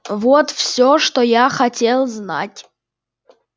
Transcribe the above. вот всё что я хотел знать